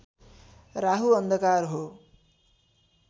राहु अन्धकार हो